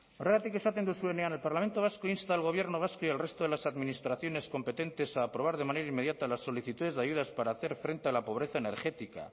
horregatik esaten duzuenean el parlamento vasco insta al gobierno vasco y al resto de las administraciones competentes a aprobar de manera inmediata las solicitudes de ayudas para hacer frente a la pobreza energética